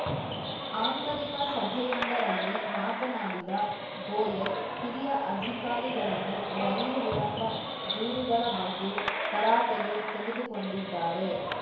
ಆಂತರಿಕ ಸಭೆಯೊಂದರಲ್ಲಿ ಮಾತನಾಡಿದ ಗೋಯಲ್‌ ಹಿರಿಯ ಅಧಿಕಾರಿಗಳನ್ನು ರೈಲು ವಿಳಂಬ ದೂರುಗಳ ಬಗ್ಗೆ ತರಾಟೆಗೆ ತೆಗೆದುಕೊಂಡಿದ್ದಾರೆ